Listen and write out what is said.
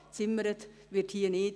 Klar, gezimmert wird hier nicht.